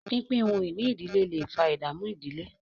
pínpín ohun-ìní ìdílé lẹ fà ìdààmú ìdílé.